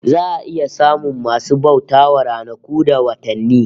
Za a iya samun masu bauta wa ranaku da watanni